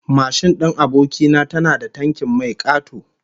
Mashin din aboki na tana da tankin mai kato